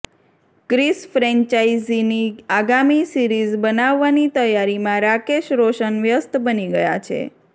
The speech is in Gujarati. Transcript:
ક્રિશ ફ્રેન્ચાઇઝીની આગામી સિરીઝ બનાવવાની તૈયારીમાં રાકેશ રોશન વ્યસ્ત બની ગયા છે